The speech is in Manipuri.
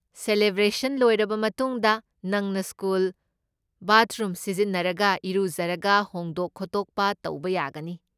ꯁꯦꯂꯦꯕ꯭ꯔꯦꯁꯟ ꯂꯣꯏꯔꯕ ꯃꯇꯨꯡꯗ, ꯅꯪꯅ ꯁ꯭ꯀꯨꯜ ꯕꯥꯠꯔꯨꯝ ꯁꯤꯖꯤꯟꯅꯔꯒ ꯏꯔꯨꯖꯔꯒ ꯍꯣꯡꯗꯣꯛ ꯈꯣꯠꯇꯣꯛꯄ ꯇꯧꯕ ꯌꯥꯒꯅꯤ꯫